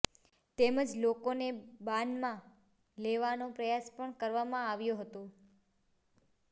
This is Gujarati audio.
તેમજ લોકોને બાનમાં લેવાનો પ્રયાસ પણ કરવામાં આવ્યો હતો